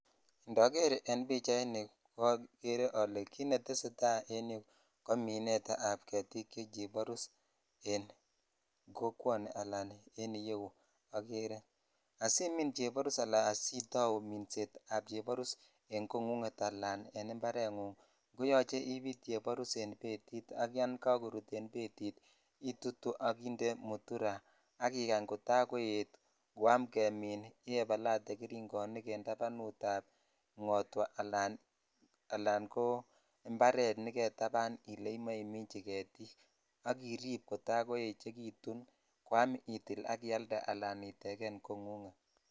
Indoger en pichanu ogere ole kit netesetai ko minet ab getik che chebarus w kokwoni ala en yuu ogere asimin cheborus ala asitau miset ab chebaruse kongunget ala en imparengung koyoche ibit chebarus en betit ak yon kakorut en betit itutu ak inde muturaa ak ikany kota koet koam kemin ibaibalate geringonik en tabanut ab ngotwaa ala imparet negetapanimichi getikak irip kota kochekitun koam itil ak ailde aa itegen kongunget.